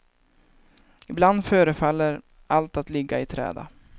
Ibland förefaller allt att ligga i träda.